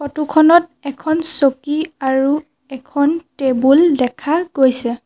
Photo খনত এখন চকী আৰু এখন টেবুল দেখা গৈছে।